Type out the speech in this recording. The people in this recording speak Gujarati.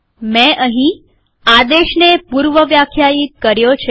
મેં અહીં આદેશને પૂર્વવ્યાખ્યાયિત કર્યો છે